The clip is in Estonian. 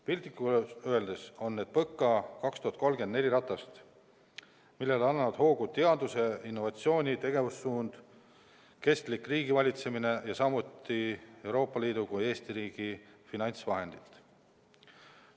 Piltlikult öeldes on need PõKa 2030 neli ratast, millele annavad hoogu teaduse ja innovatsiooni tegevussuund, kestlik riigivalitsemine ja samuti nii Euroopa Liidu kui Eesti riigi finantsvahendid.